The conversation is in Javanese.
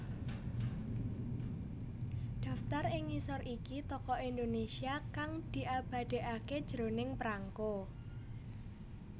Daftar ing ngisor iki Tokoh Indonesia kang diabadèkaké jroning prangko